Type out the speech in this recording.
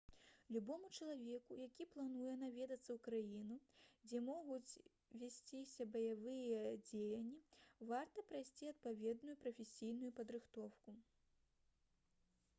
любому чалавеку які плануе наведацца ў краіну дзе могуць весціся баявыя дзеянні варта прайсці адпаведную прафесійную падрыхтоўку